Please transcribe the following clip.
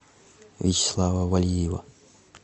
вячеслава валиева